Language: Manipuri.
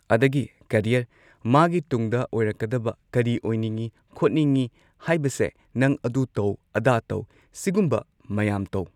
ꯑꯗꯒꯤ ꯀꯔꯤꯌꯔ ꯃꯥꯒꯤ ꯇꯨꯡꯗ ꯑꯣꯏꯔꯛꯀꯗꯕ ꯀꯔꯤ ꯑꯣꯏꯅꯤꯡꯏ ꯈꯣꯠꯅꯤꯡꯏ ꯍꯥꯏꯕꯁꯦ ꯅꯪ ꯑꯗꯨ ꯇꯧ ꯑꯗꯥ ꯇꯧ ꯁꯤꯒꯨꯝꯕ ꯃꯌꯥꯝ ꯇꯧ